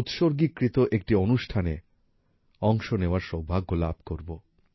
উৎসর্গিকৃত একটি অনুষ্ঠানে অংশ নেওয়ার সৌভাগ্য লাভ করব